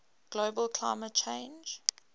global climate change